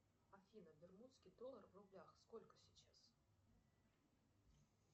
афина бермудский доллар в рублях сколько сейчас